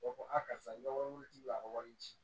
U b'a fɔ a karisa ni wari wulila a ka wari di